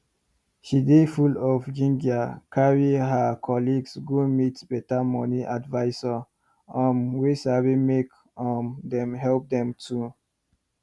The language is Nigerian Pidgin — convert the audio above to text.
she dey full of ginger carry her colleagues go meet better money advisor um wey sabi make um dem help them too